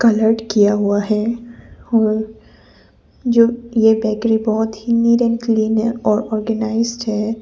Coloured किया हुआ है और जो ये बेकरी बहोत ही न्यू एंड क्लीन है और ऑर्गेनाइज्ड है।